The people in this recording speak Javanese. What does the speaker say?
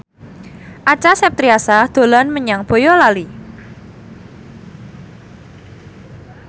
Acha Septriasa dolan menyang Boyolali